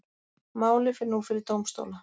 Málið fer nú fyrir dómstóla